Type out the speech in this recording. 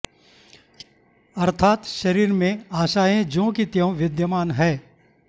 अर्थात् शरीर में आशाएं ज्यों कि त्यों विद्यमान हैं